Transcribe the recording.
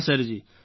હા સરજી